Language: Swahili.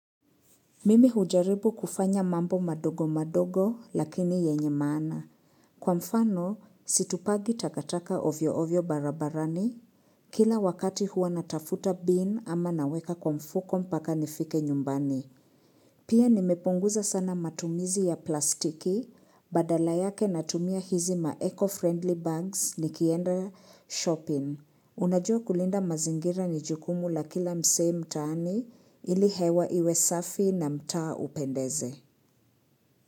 Mimi hujaribu kufanya mambo madogo madogo lakini yenye maana. Kwa mfano, situpagi takataka ovyo ovyo barabarani. Kila wakati huwa natafuta bin ama naweka kwa mfuko mpaka nifike nyumbani. Pia nimepunguza sana matumizi ya plastiki. Badala yake natumia hizi ma eco-friendly bags nikienda shopping. Unajua kulinda mazingira ni jukumu la kila msee mtaani ili hewa iwe safi na mtaa upendeze.